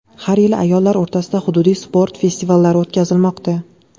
Har yili ayollar o‘rtasida hududiy sport festivallari o‘tkazilmoqda.